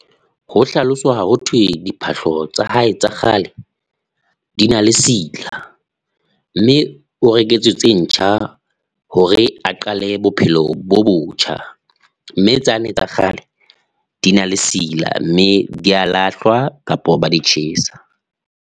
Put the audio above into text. Ho hlaloswa ho thwe diphahlo tsa hae tsa kgale, di na le sila mme o reketswe tse ntjha hore a qale bophelo bo botjha, mme tsane tsa kgale di na le sila mme di a lahlwa kapa ba di tjhesa.